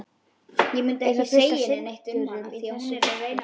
Er þá fullt af syndurum í þessu þorpi?